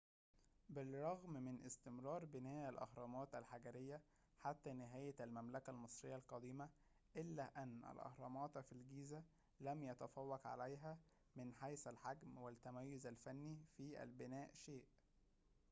بالرغم من استمرار بناء الأهرامات الحجرية حتى نهاية المملكة المصرية القديمة إلا أن الأهرامات في الجيزة لم يتفوق عليها من حيث الحجم والتميز الفني في البناء شيء